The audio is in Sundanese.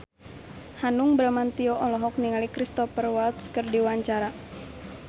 Hanung Bramantyo olohok ningali Cristhoper Waltz keur diwawancara